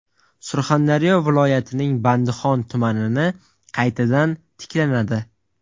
Surxondaryo viloyatining Bandixon tumanini qaytadan tiklanadi.